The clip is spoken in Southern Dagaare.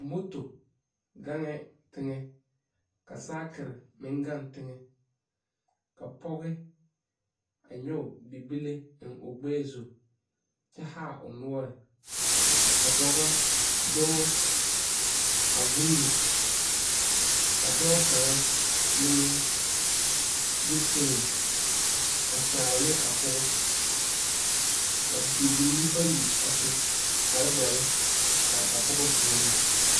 Moto gang ngɛɛ teŋɛ ka saakire meŋ gang teŋɛ ka poge a nyoge bible eŋ o gbɛɛ zu kyɛ haa o noɔre ka dɔbɔ dɔɔ a vūūne ka dɔɔ kaŋa meŋ de foon a kyaare ne a pɔgɔ ka bibiiri bayi a su kparedɔre are a poge puoriŋ .